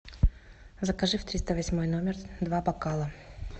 закажи в триста восьмой номер два бокала